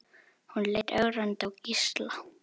Hún leit ögrandi á Gísla.